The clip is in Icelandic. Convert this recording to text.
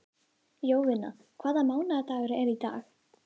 Jovina, hvaða mánaðardagur er í dag?